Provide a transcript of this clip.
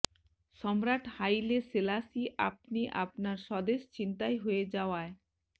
সম্রাট Haile Selassie আপনি আপনার স্বদেশ ছিনতাই হয়ে যাওয়ায়